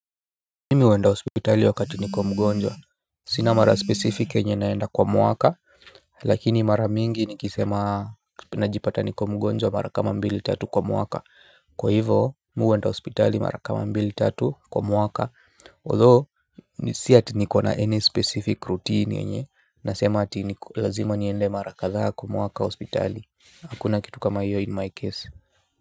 Mimi huenda hospitali wakati niko mgonjwa. Sina mara specific yenye naenda kwa mwaka. Lakini mara mingi nikisema najipata niko mgonjwa mara kama mbili tatu kwa mwaka. Kwa hivo mi huenda hospitali mara kama mbili tatu kwa mwaka Although si ati nikona any specific routine yenye nasema ati ni lazima niende mara kadhaa kwa mwaka hospitali. Hakuna kitu kama hiyo in my case.